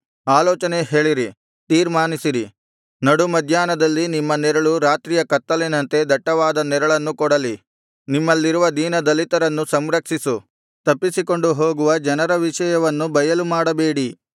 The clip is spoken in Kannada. ಆಲೋಚನೆ ಹೇಳಿರಿ ತೀರ್ಮಾನಿಸಿರಿ ನಡು ಮಧ್ಯಾಹ್ನದಲ್ಲಿ ನಿಮ್ಮ ನೆರಳು ರಾತ್ರಿಯ ಕತ್ತಲಿನಂತೆ ದಟ್ಟವಾದ ನೆರಳನ್ನು ಕೊಡಲಿ ನಿಮ್ಮಲ್ಲಿರುವ ದೀನದಲಿತರನ್ನು ಸಂರಕ್ಷಿಸು ತಪ್ಪಿಸಿಕೊಂಡು ಹೋಗುವ ಜನರ ವಿಷಯವನ್ನು ಬಯಲುಮಾಡಬೇಡಿ